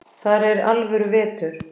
Þar er alvöru vetur.